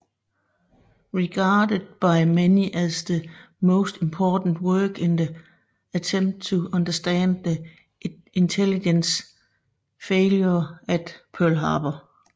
Regarded by many as the most important work in the attempt to understand the intelligence failure at Pearl Harbor